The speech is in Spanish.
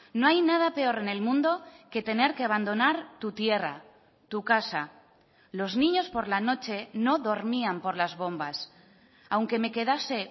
no hay nada peor en el mundo que tener que abandonar tu tierra tu casa los niños por la noche no dormían por las bombas aunque me quedase